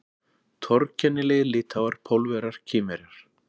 Torkennilegir Litháar, Pólverjar, Kínverjar